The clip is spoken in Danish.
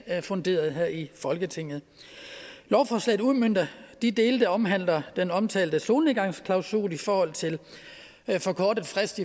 funderet her i folketinget lovforslaget udmønter de dele der omhandler den omtalte solnedgangsklausul i forhold til forkortet frist